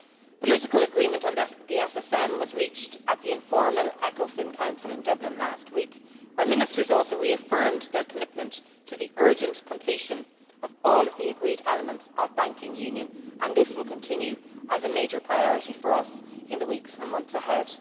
Political agreement on the SSM was reached at the informal Ecofin Council in Dublin last week, where ministers also reaffirmed their commitment to the urgent completion of all the agreed elements of banking union, and this will continue to be a major priority for us in the weeks and months ahead.